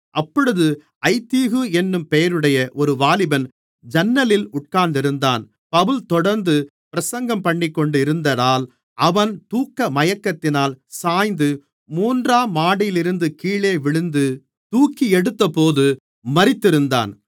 அப்பொழுது ஐத்திகு என்னும் பெயருடைய ஒரு வாலிபன் ஜன்னலில் உட்கார்ந்திருந்தான் பவுல் தொடர்ந்து பிரசங்கம்பண்ணிக்கொண்டியிருந்ததால் அவன்‌ தூக்க மயக்கத்தினால் சாய்ந்து மூன்றாம் மாடியிலிருந்து கீழே விழுந்து தூக்கியெடுத்தபோது மரித்திருந்தான்‌